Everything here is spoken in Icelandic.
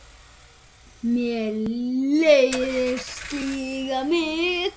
Mér leiðist slíkt mikið.